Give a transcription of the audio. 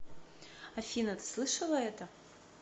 афина ты слышала это